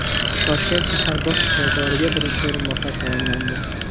Toshkent shahar bosh shifokoriga birinchi o‘rinbosar tayinlandi.